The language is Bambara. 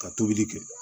Ka tobili kɛ